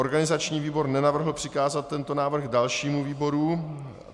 Organizační výbor nenavrhl přikázat tento návrh dalšímu výboru.